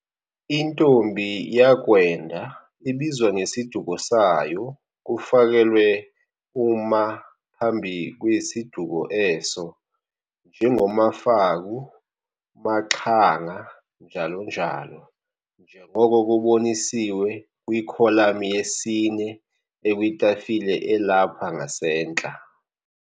intombi yakwenda ibizwa ngesiduko sayo kufakelwe u'ma' phambi kwesi duko eso, njengo-maFaku, maXhanga, njalo njalo, njengoko kubonisiwe kwi-kholami yesine ekwitafile elapha ngasentla.